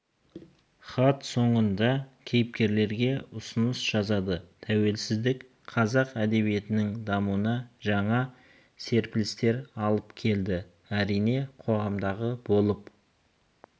хат соңында кейіпкерге ұсыныс жазады тәуелсіздік қазақ әдебиетінің дамуына жаңа серпілістер алып келді әрине қоғамдағы болып